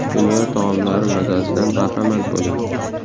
Dunyo taomlari mazasidan bahramand bo‘ling.